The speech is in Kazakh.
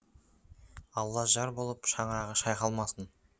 алла жар болып шаңырағы шайқалмасын